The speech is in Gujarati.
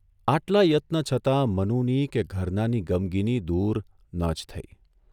આટલા યત્ન છતાં મનુની કે ઘરનાંની ગમગીની દૂર ન જ થઇ.